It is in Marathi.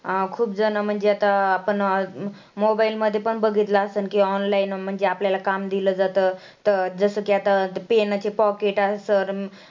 खुपजणं म्हणजे आता आपण mobile मध्ये पण बघितलं असेल की online म्हणजे आपल्याला काम दिलं जातं. तर जसं की आता पेनाचे pocket